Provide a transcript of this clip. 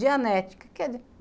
Dianética. Que que é dia